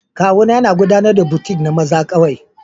Kawuna yana gudanar da boutique na maza kawai